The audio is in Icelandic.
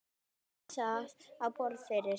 Bar það á borð fyrir